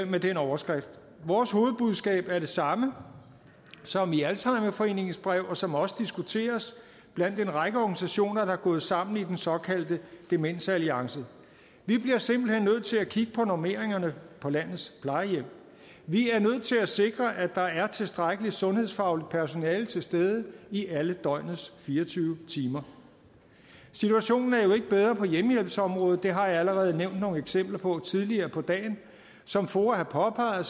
med den overskrift vores hovedbudskab er det samme som i alzheimerforeningen og som også diskuteres blandt en række organisationer der er gået sammen i den såkaldte demensalliance vi bliver simpelt hen nødt til at kigge på normeringerne på landets plejehjem vi er nødt til at sikre at der er tilstrækkelig sundhedsfagligt personale til stede i alle døgnets fire og tyve timer situationen er jo ikke bedre på hjemmehjælpsområdet det har jeg allerede nævnt nogle eksempler på tidligere på dagen som foa har påpeget